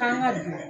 K'an ka dun